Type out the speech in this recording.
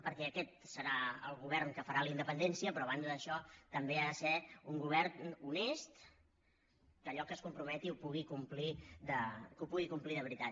perquè aquest serà el govern que farà la independència però a banda d’això també ha de ser un govern honest que allò a què es comprometi ho pugui complir de veritat